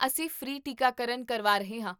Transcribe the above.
ਅਸੀਂ ਫ੍ਰੀ ਟੀਕਾਕਰਨ ਕਰਵਾ ਰਹੇ ਹਾਂ